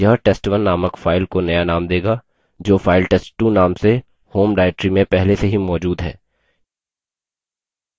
यह test1 named file को नया named देगा जो फाइल test2 named से home directory में पहले से ही मौजूद है